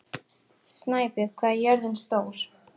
Snæbjörg, hvað er jörðin stór?